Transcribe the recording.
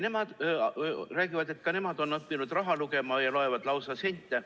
Nemad räägivad, et ka nemad on õppinud raha lugema, nad loevad lausa sente.